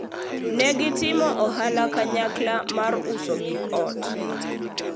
ne gitimo ohala kanyakla mar uso gik ot